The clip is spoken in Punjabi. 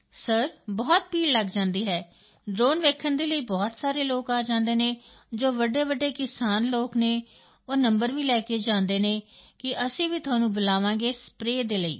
ਸਰ ਬਹੁਤ ਭੀੜ ਲੱਗ ਜਾਂਦੀ ਹੈ ਡ੍ਰੋਨ ਵੇਖਣ ਦੇ ਲਈ ਬਹੁਤ ਸਾਰੇ ਲੋਕ ਆ ਜਾਂਦੇ ਹਨ ਜੋ ਵੱਡੇਵੱਡੇ ਕਿਸਾਨ ਲੋਕ ਹਨ ਉਹ ਨੰਬਰ ਵੀ ਲੈ ਜਾਂਦੇ ਹਨ ਕਿ ਅਸੀਂ ਵੀ ਤੁਹਾਨੂੰ ਬੁਲਾਵਾਂਗੇ ਸਪਰੇਅ ਦੇ ਲਈ